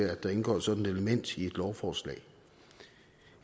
at der indgår sådan et element i et lovforslag